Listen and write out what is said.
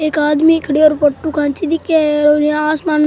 एक आदमी खड़े और फोटो खींचे दिखे है दिखे है और यहाँ आसमं --